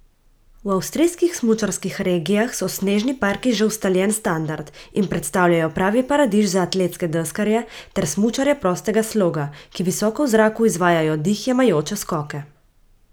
V avstrijskih smučarskih regijah so snežni parki že ustaljen standard in predstavljajo pravi paradiž za atletske deskarje ter smučarje prostega sloga, ki visoko v zraku izvajajo dih jemajoče skoke.